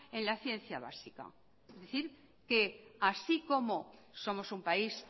en la ciencia básica es decir que así como somos un país